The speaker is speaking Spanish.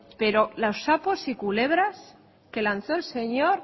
pero los sapos y culebras que lanzó el señor